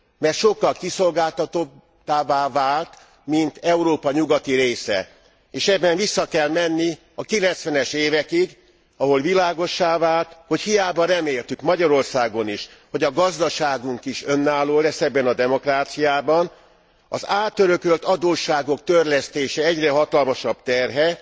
Mert sokkal kiszolgáltatottabbá vált, mint Európa nyugati része, és ebben vissza kell menni a 90 es évekig, ahol világossá vált, hogy hiába reméltük Magyarországon is, hogy a gazdaságunk is önálló lesz ebben a demokráciában, az átörökölt adósságok törlesztésének egyre hatalmasabb terhe,